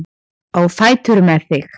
Á fætur með þig!